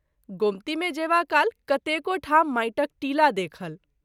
गोमती मे जएबा काल कतेको ठाम माटिक टीला देखल।